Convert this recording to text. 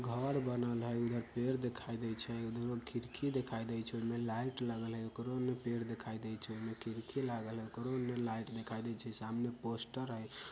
घर बनल हई इधर पेड़ दिखाई देइ छै इधरो खिड़की दिखाई देइ छै इनमें लाइट लगल हई एकरो में पेड़ देखाइ देइ छै एमे खिड़की हई लागल एकरों में लाइट दिखाई देइ छै सामने पोस्टर हई।